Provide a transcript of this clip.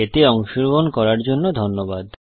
এতে অংশগ্রহন করার জন্য ধন্যবাদ